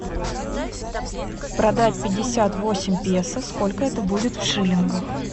продать пятьдесят восемь песо сколько это будет в шиллингах